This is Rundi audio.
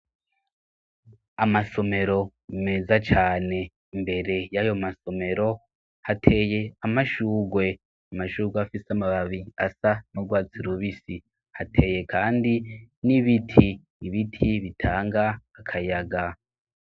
Amasomero meza cane, imbere y'ayo masomero hateye amashugwe, amashugwe afise amababi asa nurwatsi rubisi hateye kandi n'ibiti, ibiti bitanga akayaga.